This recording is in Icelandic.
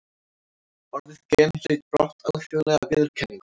Orðið gen hlaut brátt alþjóðlega viðurkenningu.